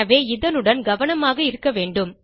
எனவே இதனுடன் கவனமாக இருக்க வேண்டும்